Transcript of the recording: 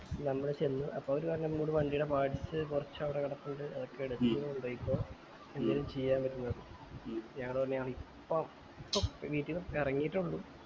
നമ്മൾ ചെന്ന് അപ്പൊ അവര് പറഞ്ഞു നമ്മളോട് വണ്ടിടെ parts കൊറച്ച് അവിടെ കെടപ്പുണ്ട് അതൊക്കെ എടുത്ത് എന്തേലും ചെയ്യാൻ പറ്റുന്നത് ഞങ്ങൾ പറഞ്ഞു ഞങ്ങൾ ഇപ്പം ഇപ്പം വീട്ടിന്ന് എറങ്ങീട്ടെ ഇള്ളു